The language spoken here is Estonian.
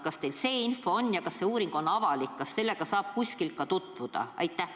Kui sai, siis kas teil on infot, kas sellega saab kuskil ka tutvuda?